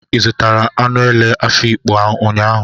Ị zụtara anụ ele n'Afikpo ụnyaahụ?